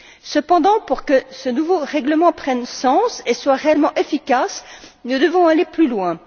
Cependant, pour que ce nouveau règlement prenne sens et soit réellement efficace, nous devons aller plus loin.